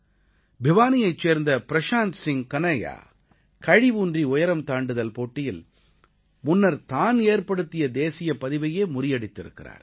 பிவானீயைச் சேர்ந்த பிரஷாந்த் சிங் கன்ஹையா கழி ஊன்றி உயரம் தாண்டுதல் போட்டியில் முன்னர் தான் ஏற்படுத்திய தேசியப் பதிவையே முறியடித்திருக்கிறார்